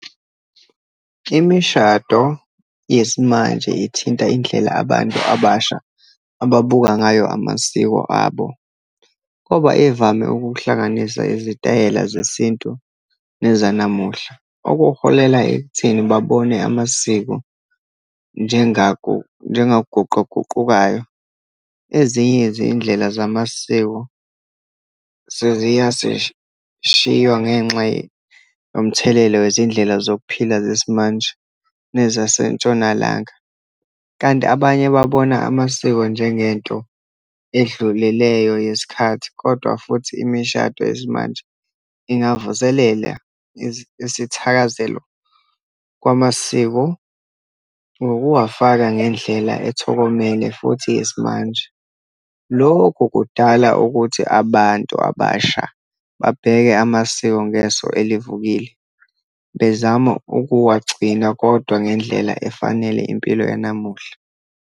Imishado yesimanje ithinta indlela abantu abasha ababuka ngayo amasiko abo. Koba ivame ukuhlanganisa izitayela zesintu nezanamuhla, okuholela ekutheni babone amasiko njengaguquguqukayo. Ezinye izindlela zamasiko ngenxa yomthelela wezindlela zokuphila zesimanje nezaseNtshonalanga. Kanti abanye babona amasiko njengento edlulileyo yesikhathi. Kodwa futhi imishado yesimanje ingavuselela isithakazelo kwamasiko ngokuwafaka ngendlela ethokomele futhi yesimanje. Lokhu kudala ukuthi abantu abasha babheke amasiko ngeso elivukile bezama ukuwagcina, kodwa ngendlela efanele impilo yanamuhla.